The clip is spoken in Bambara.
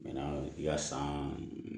yasa